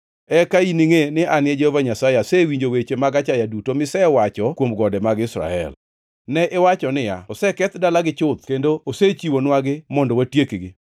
Eka iningʼe ni an Jehova Nyasaye asewinjo weche mag achaya duto misewacho kuom gode mag Israel. Ne iwacho niya, “Oseketh dalagi chuth kendo osechiwonwagi mondo watiekgi.”